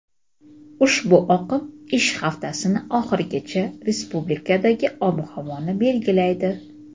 ushbu oqim ish haftasining oxirigacha respublikadagi ob-havoni belgilaydi.